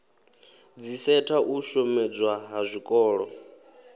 dziseta u shomedzwa ha zwikolo